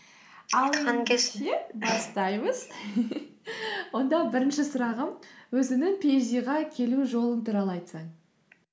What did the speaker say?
бастаймыз онда бірінші сұрағым өзіңнің пиэйчди ға келу жолың туралы айтсаң